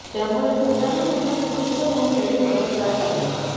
त्यामुळेच हजारो रुग्ण दुरुस्त होऊन घरी परत जात आहेत